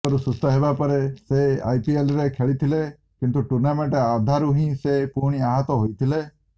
ଆଘାତରୁ ସୁସ୍ଥ ହେବାପରେ ସେ ଆଇପିଏଲ୍ରେ ଖେଳିଥିଲେ କିନ୍ତୁ ଟୁର୍ଣ୍ଣାମେଣ୍ଟ ଅଧାରୁ ହିଁ ସେ ପୁଣି ଆହତ ହୋଇଥିଲେ